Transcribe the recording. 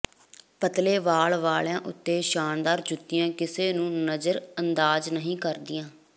ਪਤਲੇ ਵਾਲ ਵਾਲਿਆ ਉੱਤੇ ਸ਼ਾਨਦਾਰ ਜੁੱਤੀਆਂ ਕਿਸੇ ਨੂੰ ਨਜ਼ਰਅੰਦਾਜ਼ ਨਹੀਂ ਕਰਦੀਆਂ